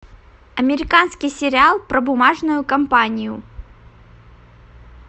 американский сериал про бумажную компанию